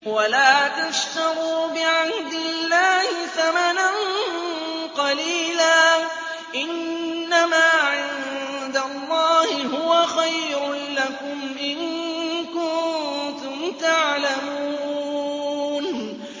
وَلَا تَشْتَرُوا بِعَهْدِ اللَّهِ ثَمَنًا قَلِيلًا ۚ إِنَّمَا عِندَ اللَّهِ هُوَ خَيْرٌ لَّكُمْ إِن كُنتُمْ تَعْلَمُونَ